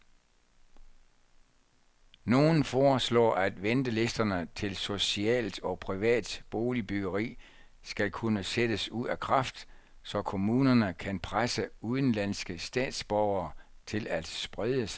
Nogen foreslår, at ventelisterne til socialt og privat boligbyggeri skal kunne sættes ud af kraft, så kommunerne kan presse udenlandske statsborgere til at sprede sig.